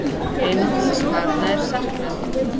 Einungis barna er saknað.